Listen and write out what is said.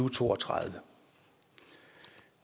og to og tredive